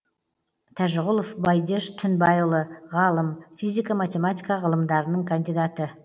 тәжіғұлов бәйдеш түнбайұлы ғалым физика математика ғылымдарының кандидаты